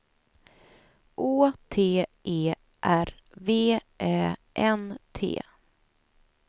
Å T E R V Ä N T